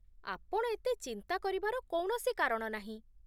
ଆପଣ ଏତେ ଚିନ୍ତା କରିବାର କୌଣସି କାରଣ ନାହିଁ!